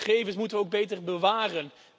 Gegevens moeten we ook beter bewaren.